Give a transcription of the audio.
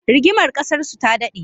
Rigimar ƙasarsu ta daɗe